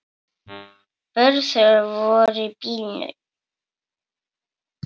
Börn þeirra voru í bílnum.